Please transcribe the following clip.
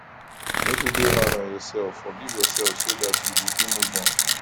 no too dey hard on yourself forgive yourself so dat you go fit move on